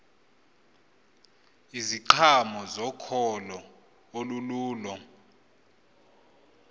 iziqhamo zokholo olululo